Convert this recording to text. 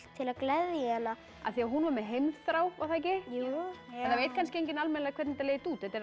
til að gleðja hana af því hún var með heimþrá var það ekki jú það veit kannski enginn hvernig þetta leið út þetta er